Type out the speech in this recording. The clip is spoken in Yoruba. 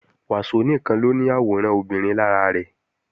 Wàsó nìkan ló ní àwòrán obìnrin lára rẹ̀